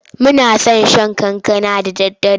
Muna son shan kankana da daddare.